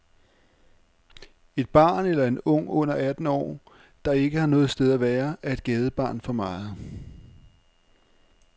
Et barn eller en ung under atten år, der ikke har noget sted at være, er et gadebarn for meget.